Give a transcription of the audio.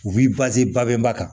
U b'i babɛnba kan